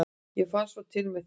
ég fann svo til með þér!